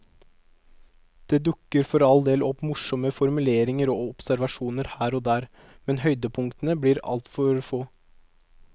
Det dukker for all del opp morsomme formuleringer og observasjoner her og der, men høydepunktene blir altfor få.